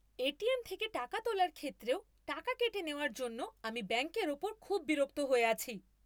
ATM থেকে টাকা তোলার ক্ষেত্রেও টাকা কেটে নেওয়ার জন্য আমি ব্যাঙ্কের ওপর খুব বিরক্ত হয়ে আছি।